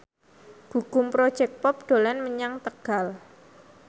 Gugum Project Pop dolan menyang Tegal